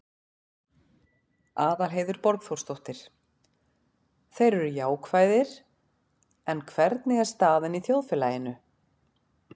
Aðalheiður Borgþórsdóttir: Þeir eru jákvæðir, en hvernig er staðan í þjóðfélaginu?